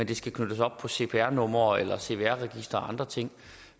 de skal knyttes op på cpr numre eller cvr registeret eller andre ting